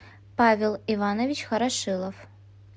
павел иванович хорошилов